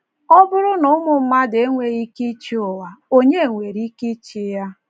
Ọ bụrụ na ụmụ mmadụ enweghị ike ịchị ụwa, ònye nwere ike ịchị ya?